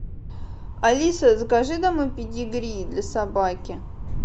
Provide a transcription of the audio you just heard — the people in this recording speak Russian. алиса закажи домой педигри для собаки